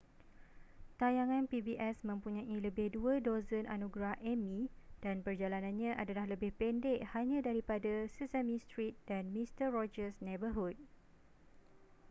tayangan pbs mempunyai lebih dua dozen anugerah emmy dan perjalanannya adalah lebih pendek hanya daripada sesame street dan mister rogers' neighborhood